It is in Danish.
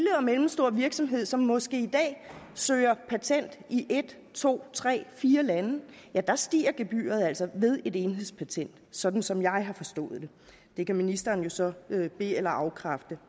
mellemstor virksomhed som måske i dag søger patent i et to tre eller fire lande stiger gebyret altså ved et enhedspatent sådan som jeg har forstået det det kan ministeren jo så be eller afkræfte